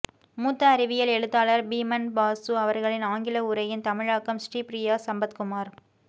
மூத்த அறிவியல் எழுத்தாளர் பீமன் பாசு அவர்களின் ஆங்கில உரையின் தமிழாக்கம் ஸ்ரீப்ரியா சம்பத்குமார்